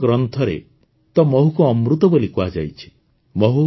ଆୟୁର୍ବେଦ ଗ୍ରନ୍ଥରେ ତ ମହୁକୁ ଅମୃତ ବୋଲି କୁହାଯାଇଛି